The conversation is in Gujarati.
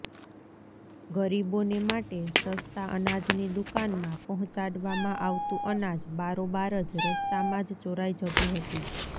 ગરીબોને માટે સસ્તા અનાજની દુકાનમાં પહોંચાડવામાં આવતું અનાજ બારોબાર જ રસ્તામાં જ ચોરાઈ જતું હતું